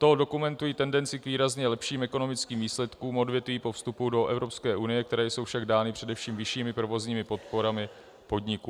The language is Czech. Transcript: To dokumentuje tendenci k výrazně lepším ekonomickým výsledkům odvětví po vstupu do Evropské unie, které jsou však dány především vyššími provozními podporami podniků.